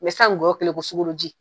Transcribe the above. Mɛ san ngɔyɔ kɛlen bɛ i ko sugaro ji.